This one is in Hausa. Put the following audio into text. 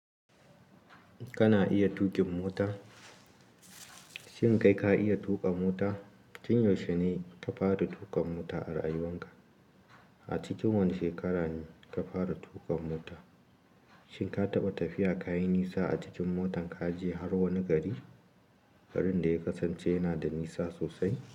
Kana iya tuƙin mota? Shin kai ka iya tuƙa mota? Tin yaushe ne ka fara tuƙa mota a rayuwan ka? A cikin wani shekara ne ka fara tuƙa mota? Shin ka taɓa tafiya ka yi nisa a cikin motan kaje har wani gari, garin da ya kasance yana da nisa sosai?